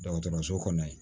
Dɔgɔtɔrɔso kɔnɔ yen